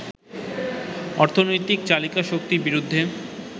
অর্থনৈতিক চালিকা শক্তির বিরুদ্ধে